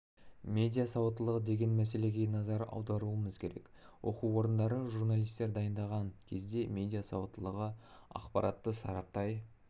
медиа сауаттылығы деген мәселеге назар аударуымыз керек оқу орындары журналистер дайындаған кезде медиа сауаттылығы ақпаратты сараптай